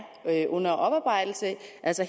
under oparbejdelse